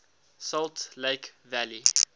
salt lake valley